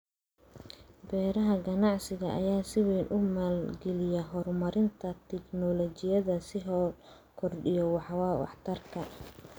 Beeraha ganacsiga ayaa si weyn u maalgeliya horumarinta tignoolajiyada si loo kordhiyo waxtarka.